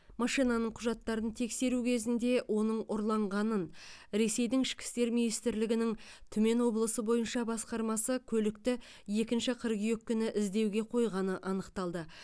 машинаның құжаттарын тексеру кезінде оның ұрланғанын ресейдің ішкі істер министрлігінің түмен облысы бойынша басқармасы көлікті екінші қыркүйек күні іздеуге қойғаны анықталды